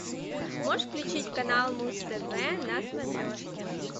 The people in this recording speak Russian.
можешь включить канал муз тв на смотрешке